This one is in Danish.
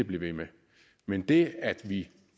blive ved med men det at vi